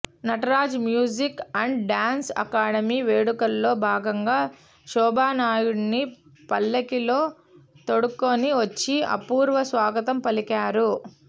Nataraj Music and Dance Academy వేడుకల్లో భాగంగా శోభానాయుడిని పల్లకీలో తోడ్కొని వచ్చి అపూర్వ స్వాగతం పలికారు